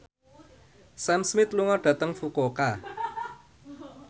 Sam Smith lunga dhateng Fukuoka